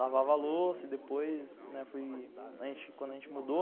Lavava a louça e depois, né, quando a gente mudou,